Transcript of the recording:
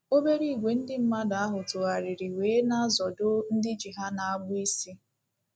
Obere ìgwè ndị mmadụ ahụ tụgharịrị wee ‘ na-azọdo ’ ndị ji ha n'agbụ isi.